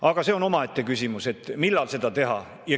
Aga see on omaette küsimus, millal seda teha.